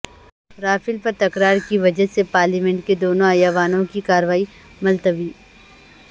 Rafale پر تکرار کی وجہ سےپارلیمنٹ کے دونوں ایوانوں کی کارروائی ملتوی